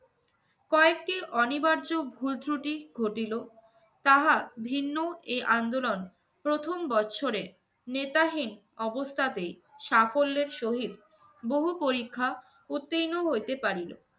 কয়েকটি অনিবার্য ভুল ত্রুটি ঘটিল, তাহা ভিন্ন এ আন্দোলন প্রথম বৎসরে নেতাহীন অবস্থাতেই সাফল্যের সহিত বহু পরীক্ষা উত্তীর্ণ হইতে পারিল।